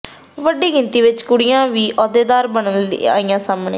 ਵੱਡੀ ਗਿਣਤੀ ਵਿਚ ਕੁੜੀਆਂ ਵੀ ਅਹੁਦੇਦਾਰ ਬਣਨ ਲਈ ਆਈਆਂ ਸਾਹਮਣੇ